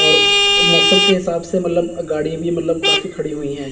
और मौसम के हिसाब से मतलब गाड़ी भी मतलब काफी खड़ी हुई है।